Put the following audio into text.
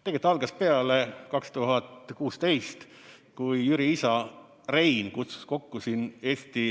Tegelikult algas see 2016, kui Jüri isa Rein kutsus kokku siin Eesti